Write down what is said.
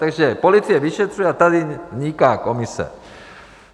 Takže policie vyšetřuje a tady vzniká komise.